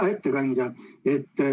Hea ettekandja!